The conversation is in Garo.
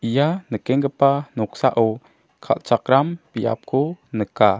ia nikenggipa noksao kal·chakram biapko nika.